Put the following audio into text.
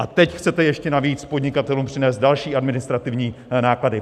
A teď chcete ještě navíc podnikatelům přinést další administrativní náklady!